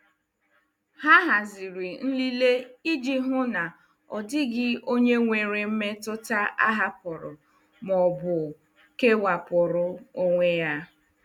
Ha haziri nlele iji hụ na ọ dịghị onye nwere mmetụta a hapụrụ ma ọ bụ kewapụrụ onwe ya.